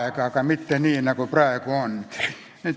Aga ei olnud mitte nii, nagu praegu on.